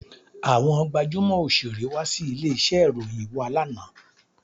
Àwọn gbajúmò Òṣeré wá sí ilé iṣẹ́ ìròyìn wá lánàá.